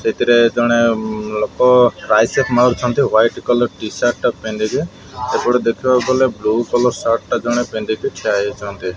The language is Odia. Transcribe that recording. ସେଥିରେ ଜଣେ ଲୋକ ଟ୍ରାଇସପ୍ ମାରୁଛନ୍ତି ହ୍ୱାଇଟ କଲର ଟି ସାର୍ଟ ପିନ୍ଧିକି ଏପଟେ ଦେଖିବାକୁ ଗଲେ ବ୍ଲୁ କଲର ସାର୍ଟ ଟା ପିନ୍ଧିକି ଜଣେ ଠିଆ ହେଇଛନ୍ତି।